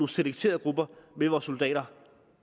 selekterede grupper med vores soldater